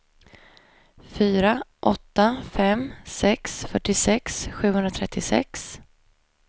fyra åtta fem sex fyrtiosex sjuhundratrettiosex